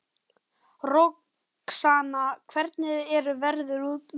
Roxanna, hvernig er veðrið úti?